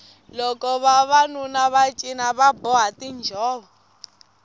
loko vavanuna va cina va boha tinjhovo